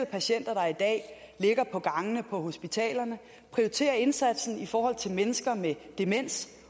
patienter der i dag ligger på gangene på hospitalerne og prioritere indsatsen i forhold til mennesker med demens